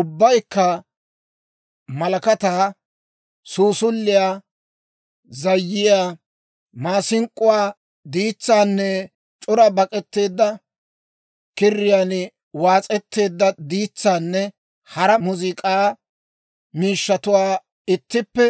ubbaykka malakataa, suusuliyaa, zayyiyaa, maasink'k'uwaa, diitsaanne c'ora bak'etteedda kiriyaan waas'etteedda diitsaanne hara muuziik'aa miishshatuwaa ittippe